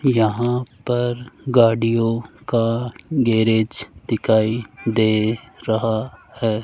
यहां पर गाड़ियों का गैरेज दिखाई दे रहा है।